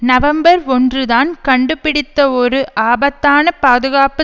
November ஒன்று தான் கண்டுபிடித்த ஒரு ஆபத்தான பாதுகாப்பு